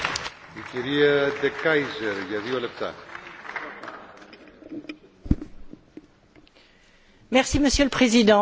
Monsieur le Président, il y a vraiment des moments où il faut savoir choisir son camp, on me l'a dit tant de fois dans l'Union européenne.